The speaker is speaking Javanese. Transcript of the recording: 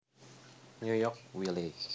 New York Wiley